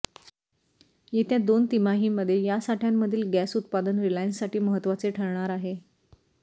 येत्या दोन तिमाहींमध्ये यासाठय़ांमधील गॅस उत्पादन रिलायन्ससाठी महत्त्वाचे ठरणार आहे